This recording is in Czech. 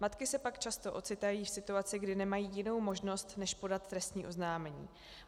Matky se pak často ocitají v situaci, kdy nemají jinou možnost než podat trestní oznámení.